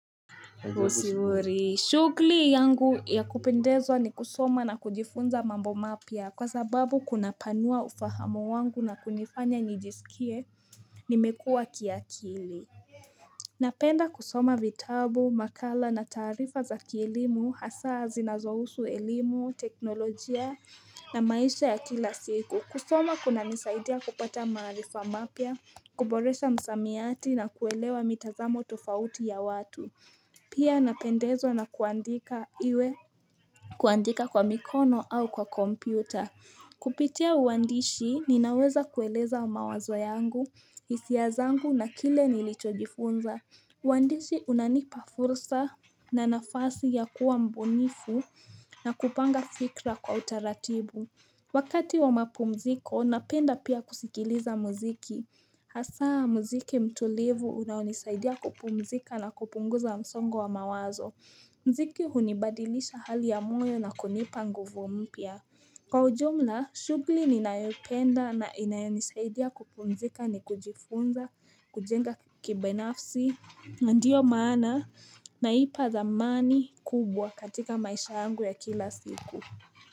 Usiwori shughuli yangu ya kupendezwa ni kusoma na kujifunza mambo mapya kwa sababu kuna panua ufahamu wangu na kunifanya nijisikie nimekua kiakili Napenda kusoma vitabu, makala na taarifa za kielimu, hasa zinazohusu elimu, teknolojia na maisha ya kila siku. Kusoma kuna nisaidia kupata maarifa mapya, kuboresha msamiati na kuelewa mitazamo tofauti ya watu. Pia napendezwa na kuandika iwe kuandika kwa mikono au kwa kompyuta. Kupitia uandishi ninaweza kueleza mawazwa yangu, hisia zangu na kile nilichojifunza uandishi unanipa fursa na nafasi ya kuwa mbunifu na kupanga fikra kwa utaratibu Wakati wa mapumziko, napenda pia kusikiliza muziki Hasaa muziki mtulivu unaonisaidia kupumzika na kupunguza msongo wa mawazo Mziki hunibadilisha hali ya moyo na kunipa nguvu mpya Kwa ujumla, shughuli ninayoipenda na inayonisaidia kupumzika ni kujifunza, kujenga kibenafsi, ndiyo maana naipa dhamani kubwa katika maisha yangu ya kila siku.